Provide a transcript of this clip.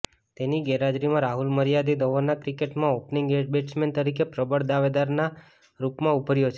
તેની ગેરહાજરીમાં રાહુલ મર્યાદીત ઓવરના ક્રિકેટમાં ઓપનિંગ બેટ્સમેન તરીકે પ્રબળ દાવેદારના રૂપમાં ઉભર્યો છે